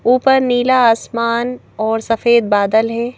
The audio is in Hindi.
ऊपर नीला आसमान और सफेद बादल है।